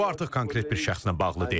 Bu artıq konkret bir şəxslə bağlı deyil.